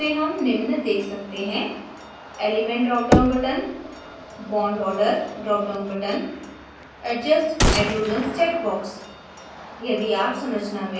draw settings menu में हम निम्न देख सकते हैं